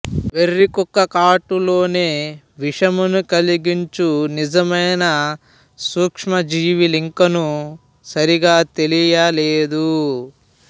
వెర్రి కుక్క కాటు లోని విషమును కలిగించు నిజమైన సూక్ష్మ జీవులింకను సరిగా తెలియ లేదు